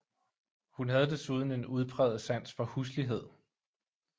Hun havde desuden en udpræget sans for huslighed